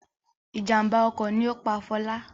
Ìjàmbá ọkọ̀ ni ó pa Fọlá.